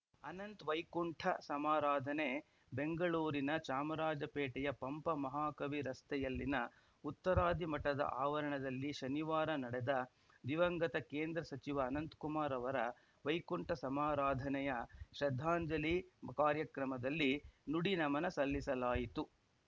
ಅನಂತ್‌ ವೈಕುಂಠ ಸಮಾರಾಧನೆ ಬೆಂಗಳೂರಿನ ಚಾಮರಾಜಪೇಟೆಯ ಪಂಪ ಮಹಾಕವಿ ರಸ್ತೆಯಲ್ಲಿನ ಉತ್ತರಾದಿ ಮಠದ ಆವರಣದಲ್ಲಿ ಶನಿವಾರ ನಡೆದ ದಿವಂಗತ ಕೇಂದ್ರ ಸಚಿವ ಅನಂತಕುಮಾರ್‌ ಅವರ ವೈಕುಂಠ ಸಮಾರಾಧನೆಯ ಶ್ರದ್ಧಾಂಜಲಿ ಕಾರ್ಯಕ್ರಮದಲ್ಲಿ ನುಡಿನಮನ ಸಲ್ಲಿಸಲಾಯಿತು